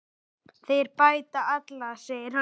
Þeir bæta alla, segir hann.